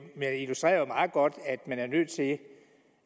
meget godt at man er nødt til